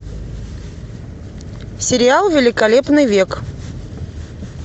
сериал великолепный век